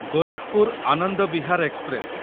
Gorakhpur Anand Vihar express